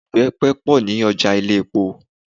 Ibepe pọ̀ ní ọjà ilé-epo.